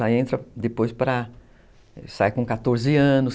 Já entra depois para... Sai com quatorze anos,